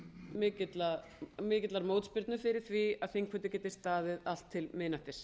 án mikillar mótspyrnu fyrir því að þingfundir geti staðið allt til miðnættis